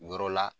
Yɔrɔ la